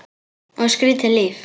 Og skrýtið líf.